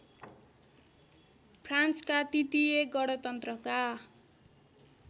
फ्रान्सका तृतीय गणतन्त्रका